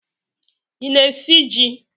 Ị na-esi ji?